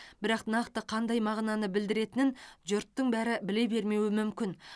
бірақ нақты қандай мағынаны білдіретінін жұрттың бәрі біле бермеуі мүмкін